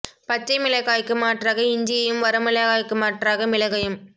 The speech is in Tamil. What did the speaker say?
பச்சை மிளகாய்க்கு மாற்றாக இஞ்சியையும் வர மிளகாய்க்கு மாற்றாக மிளகையும்